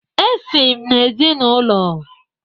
Esi m n'ezinaụlọ